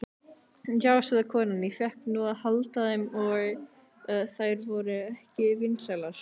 Já, sagði konan, ég fékk nú að halda þeim, en þær voru ekki vinsælar.